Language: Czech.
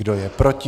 Kdo je proti?